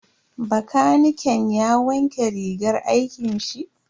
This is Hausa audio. Bakaniken ya wanke rigar aikin shi.